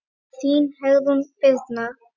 Þín Heiðrún Birna.